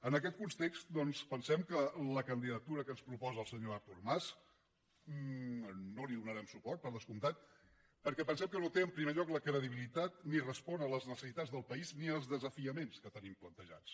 en aquest context doncs pensem que a la candidatura que ens proposa el senyor artur mas no hi donarem suport per descomptat perquè pensem que no té en primer lloc la credibilitat ni respon a les necessitats del país ni als desafiaments que tenim plantejats